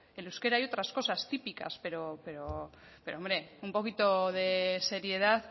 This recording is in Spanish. el euskera y otras cosas típicas pero hombre un poquito de seriedad